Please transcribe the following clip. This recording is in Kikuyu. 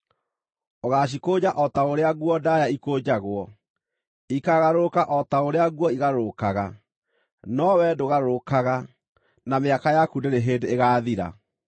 Ũgaacikũnja o ta ũrĩa nguo ndaaya ikũnjagwo; ikaagarũrũka o ta ũrĩa nguo igarũrũkaga. No wee ndũgarũrũkaga, na mĩaka yaku ndĩrĩ hĩndĩ ĩgaathira.”